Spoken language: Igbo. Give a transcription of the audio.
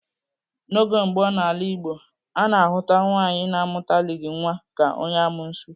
N'oge gboo n'ala Igbo, a na-ahụta nwaanyị na-amụtalighị nwa ka onye amuosu.